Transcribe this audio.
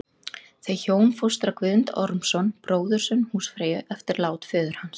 Þau hjón fóstra Guðmund Ormsson, bróðurson húsfreyju, eftir lát föður hans.